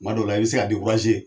Kuma dɔw la, i bɛ se ka .